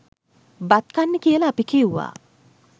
බත් කන්න කියල අපි කිව්වා.